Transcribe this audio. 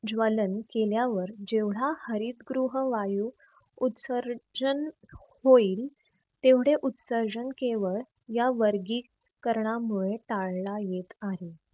ज्वलन केल्यावर जेवढा हरितगृह वायू उत्सर्जन होईल तेवढे उत्सर्जन केवळ या वर्गीकरणामुळे टाळला येत आहे.